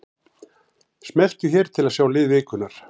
Smelltu hér til að sjá lið vikunnar